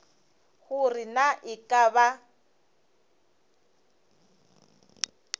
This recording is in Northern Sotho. gore na e ka ba